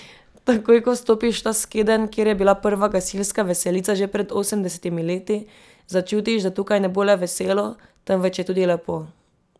Takoj ko vstopiš v ta skedenj, kjer je bila prva gasilska veselica že pred osemdesetimi leti, začutiš, da tukaj ne bo le veselo, temveč je tudi lepo!